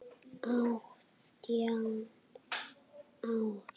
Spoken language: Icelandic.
Átján ár.